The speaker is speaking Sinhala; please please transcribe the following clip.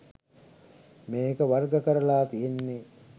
මේක වර්ග කරලා තියෙන්නේ